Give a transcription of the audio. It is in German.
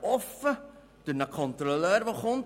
Offen durch einen Kontrolleur, der dabei ist?